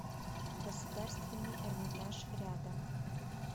государственный эрмитаж рядом